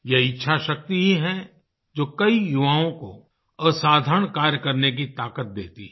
ये इच्छाशक्ति ही है जो कई युवाओं को असाधारण कार्य करने की ताकत देती है